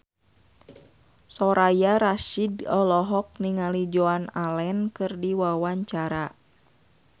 Soraya Rasyid olohok ningali Joan Allen keur diwawancara